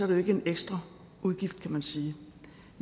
det ikke en ekstra udgift kan man sige